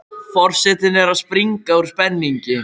Forsetinn er að springa úr spenningi.